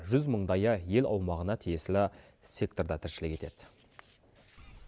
жүз мыңдайы ел аумағына тиесілі секторда тіршілік етеді